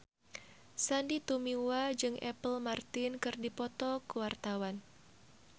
Sandy Tumiwa jeung Apple Martin keur dipoto ku wartawan